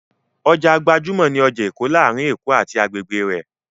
Ọjà gbajúmọ̀ ni ọjà Èkó láàárín Èkó àti agbègbè rẹ̀.